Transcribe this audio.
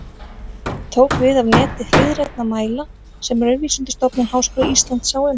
Það tók við af neti hliðrænna mæla sem Raunvísindastofnun Háskóla Íslands sá um.